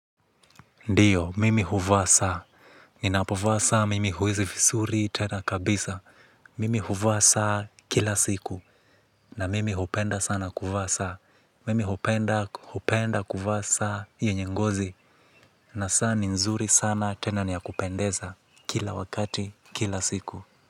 Ndiyo, mimi huvaa saa. Ninapovaa saa mimi huwezi visuri tena kabisa. Mimi huvaa saa kila siku. Na mimi hupenda sana kuvaa saa. Mimi hupenda, hupenda kuvaa saa yenye ngozi. Na saa ni nzuri sana tena ni ya kupendeza, kila wakati kila siku.